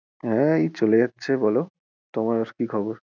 হ্যাঁ এই চলে যাচ্ছে বলো তোমার কি খবর?